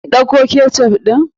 In ɗauko ketchup ɗin?